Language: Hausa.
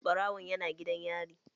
Ɓarawon yana gidan yari.